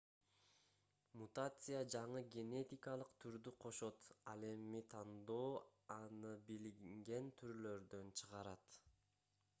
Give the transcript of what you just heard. мутация жаңы генетикалык түрдү кошот ал эми тандоо аны билинген түрлөрдөн чыгарат